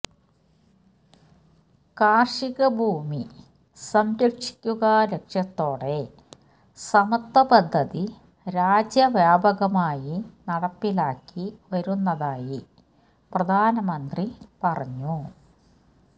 കാര്ഷിക ഭൂമി സംരക്ഷിക്കുക ലക്ഷ്യത്തോടെ സമത്വ പദ്ധതി രാജ്യവ്യാപകമായി നടപ്പിലാക്കി വരുന്നതായി പ്രധാനമന്ത്രി പറഞ്ഞു